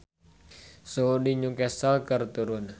Suhu di New Castle keur turun